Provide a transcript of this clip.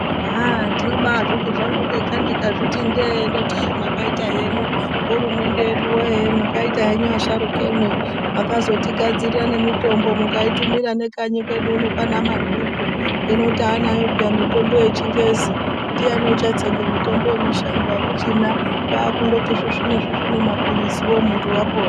Aaah ndinobazviti ndega ndikazviti ndee ndotii ii mwakaita henyu hurumende yedu yee mwakaita henyu asharukemwi mwakazotigadzirire nemitombo mukaitumira nekanyi kwedu uno kwaana madhuku hino taanayo peya mitombo yechingezi ndiani uchatsenge mitombo yemushango akuchina kwaakungoti svisvine-svisvine mapiliziwo muntu wapora.